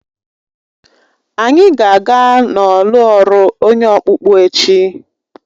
Anyị ga-aga n'ọlụ ọrụ onye ọkpụkpụ echi.